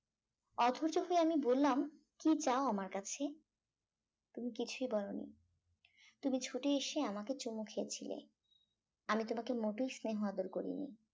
অধৈর্য হয়ে আমি বললাম কি চাও আমার কাছে তুমি কিছুই বলনি তুমি ছুটে এসে আমাকে চুমু খেয়েছিলে আমি তোমাকে মোটেও স্নেহ আদর করিনি